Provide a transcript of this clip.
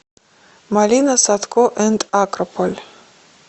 малина садко энд акрополь